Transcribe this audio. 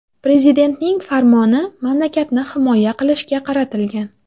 Prezidentning farmoni mamlakatni himoya qilishga qaratilgan.